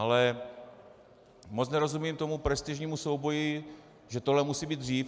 Ale moc nerozumím tomu prestižnímu souboji, že tohle musí být dřív.